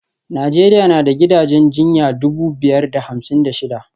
Najeriya na da gidajen jinya dubu biyar da hamsin da shida